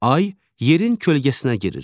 Ay yerin kölgəsinə girir.